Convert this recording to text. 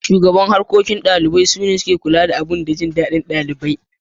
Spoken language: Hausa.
Shugaban Harkokin Dalibai shine ke kula da bukatun da jin dadin dalibai.